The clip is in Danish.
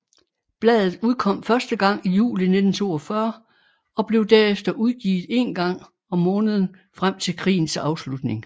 Bladet udkom første gang i juli 1942 og blev derefter udgivet en gang om måneden frem til krigens afslutning